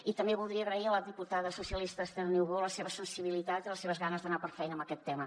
i també voldria agrair a la diputada socialista esther niubó la seva sensibilitat i les seves ganes d’anar per feina en aquest tema